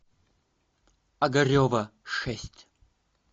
огарева шесть